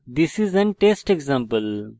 this is an test example